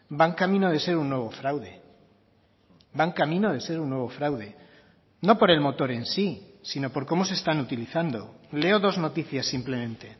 van camino de ser un nuevo fraude van camino de ser un nuevo fraude no por el motor en sí sino por cómo se están utilizando leo dos noticias simplemente